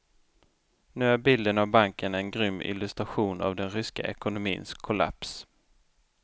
Nu är bilden av banken en grym illustration av den ryska ekonomins kollaps.